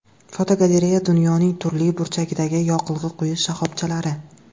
Fotogalereya: Dunyoning turli burchagidagi yoqilg‘i quyish shoxobchalari.